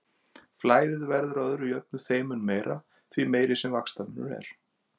Flæðið verður að öðru jöfnu þeim mun meira, því meiri sem þessi vaxtamunur er.